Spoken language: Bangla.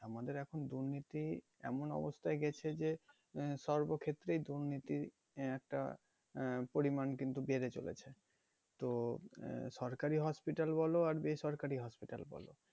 আমাদের এখন দুর্নীতি এমন অবস্থায় গেছে যে আহ সর্বক্ষেত্রেই দুর্নীতির আহ একটা আহ পরিমাণ কিন্তু বেড়ে চলেছে তো আহ সরকারি hospital বলো আর বেসরকারি hospital বলো